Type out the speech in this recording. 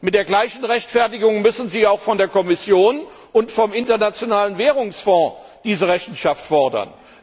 Mit der gleichen Rechtfertigung müssen Sie auch von der Kommission und vom Internationalen Währungsfonds diese Rechenschaft fordern.